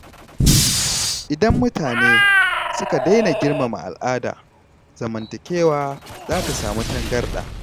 Idan mutane suka daina girmama al’ada, zamantakewa za ta samu tangarɗa.